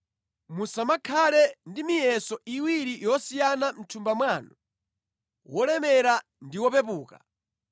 Musamakhale ndi miyeso iwiri yosiyana mʼthumba mwanu, wolemera ndi wopepuka.